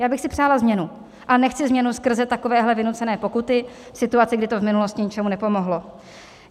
Já bych si přála změnu, a nechci změnu skrze takovéhle vynucené pokuty v situaci, kdy to v minulosti ničemu nepomohlo.